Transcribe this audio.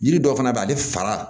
Yiri dɔw fana be yen a bi fara